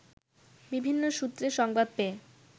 বিভিন্ন সূত্রে সংবাদ পেয়ে